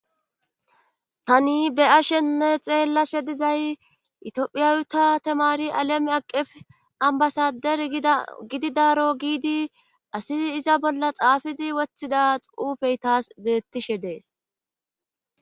tani be'ashenne xeellashe dizay itophiyawuta temari aleme aqef ambasader gididaro giidi asi iza bolla xaafidi wothida xuufey taas bettishe dees